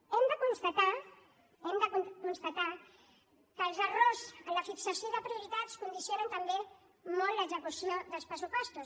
hem de constatar hem de constatar que els erros en la fixació de prioritats condicionen també molt l’execució dels pressupostos